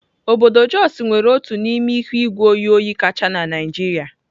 Obodo Jos nwere otu n'ime ihu igwe oyi kacha na Naịjirịa.